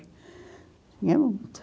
Tinha muita.